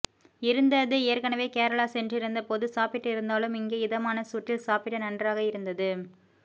இருந்தது ஏற்கனவே கேரளா சென்றிருந்த போது சாப்பிட்டு இருந்தாலும் இங்கே இதமான சூட்டில் சாப்பிட நன்றாக இருந்தது